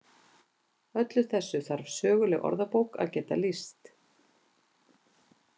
Öllu þessu þarf söguleg orðabók að geta lýst.